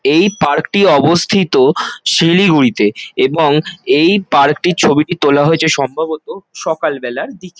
এই পার্ক -টি অবস্থিত শিলিগুড়িতে এবং এই পার্ক -টির ছবিটি তোলা হয়েছে সম্ভবত সকাল বেলার দিকে।